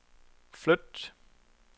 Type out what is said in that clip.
flyt